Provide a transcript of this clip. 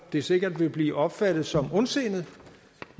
vil sikkert blive opfattet som ondsindet